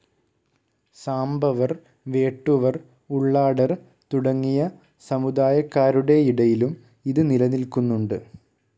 സാംബവർ, വേട്ടുവർ, ഉള്ളാടർ തുടങ്ങിയ സമുദായക്കാരുടെയിടയിലും ഇത് നിലനില്ക്കുന്നുണ്ട്.